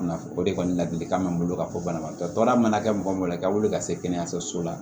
o de kɔni ladilikan bɛ n bolo ka fɔ banabagatɔ baara mana kɛ mɔgɔ ma i ka wuli ka se kɛnɛyaso la